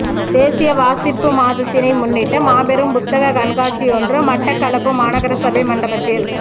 தேசிய வாசிப்பு மாதத்தினை முன்னிட்டு மாபெரும் புத்தக கண்காட்சியொன்று மட்டக்களப்பு மாநகரசபை மண்டபத்தில